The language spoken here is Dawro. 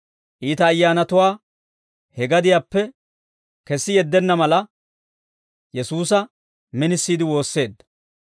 Iita ayyaanatuwaa he gadiyaappe kessi yeddenna mala, Yesuusa minisiide woosseedda.